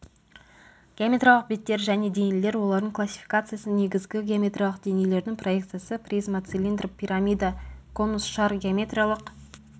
геометриялық беттер және денелер олардың классификациясы негізгі геометриялық денелердің проекциясы призма цилиндр пирамида конус шар геометриялық